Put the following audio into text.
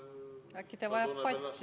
Äkki ta vajab patja?